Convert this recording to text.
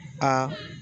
Aa